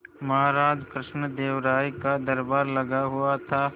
महाराज कृष्णदेव राय का दरबार लगा हुआ था